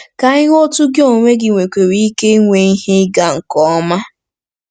Ka anyị hụ otú gị onwe gị nwekwara ike isi nwee ihe ịga nke ọma..